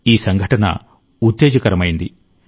ఈ సంఘటన ఉత్తేజకరమైంది